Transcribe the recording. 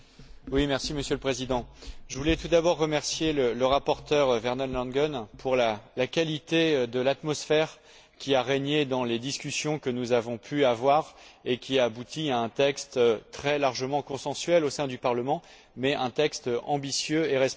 Monsieur le Président, je voulais tout d'abord remercier le rapporteur, Werner Langen, pour la qualité de l'atmosphère qu'il a fait régner dans les discussions que nous avons pu avoir, qui ont abouti à un texte très largement consensuel au sein du Parlement, mais un texte ambitieux et responsable.